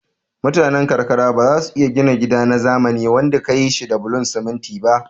Mutane karkara bazasu iya gina gida na zamani wanda kayi shi da bulon siminti ba